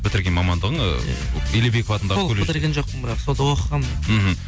бітірген мамандығың ы илебеков атындағы толық бітірген жоқпын бірақ сонда оқығанмын мен мхм